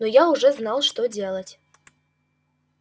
но я уже знал что делать